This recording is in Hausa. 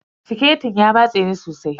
Siketin ya matse ni sosai.